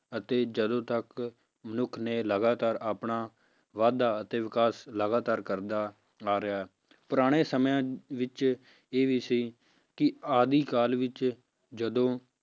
ਅਤੇ ਜਦੋਂ ਤੱਕ ਮਨੁੱਖ ਨੇ ਲਗਾਤਾਰ ਆਪਣਾ ਵਾਧਾ ਅਤੇ ਵਿਕਾਸ ਲਗਾਤਾਰ ਕਰਦਾ ਆ ਰਿਹਾ ਹੈ, ਪੁਰਾਣੇ ਸਮਿਆਂ ਵਿੱਚ ਇਹ ਵੀ ਸੀ ਕਿ ਆਦਿ ਕਾਲ ਵਿੱਚ ਜਦੋਂ